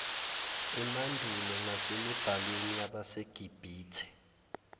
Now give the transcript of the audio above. emandulo nasemibhalweni yabasegibhithe